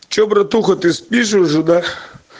что братуха ты спишь уже да